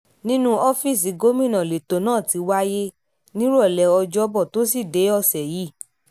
nínú ọ́fíìsì gómìnà lẹ́tọ́ náà ti wáyé nírọ̀lẹ́ ọjọ́bọ tọ́sídẹ̀ẹ́ ọ̀sẹ̀ yìí